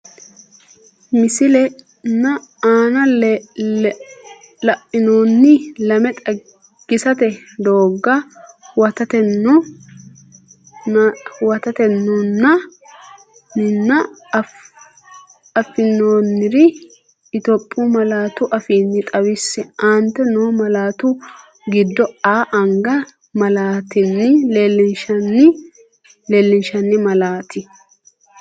Misile nna aana la’inoonni lame xagisate doogga huwattinoon ninna affinoonnire Itophiyu malaatu afiinni xawisse, Aante noo malaatta giddo “A”anga malaattanni leellinshanni malaat?